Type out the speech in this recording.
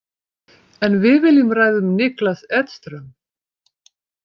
En við viljum ræða um Niklas Edström.